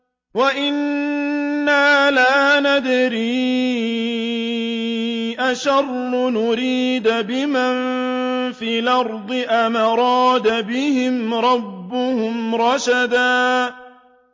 وَأَنَّا لَا نَدْرِي أَشَرٌّ أُرِيدَ بِمَن فِي الْأَرْضِ أَمْ أَرَادَ بِهِمْ رَبُّهُمْ رَشَدًا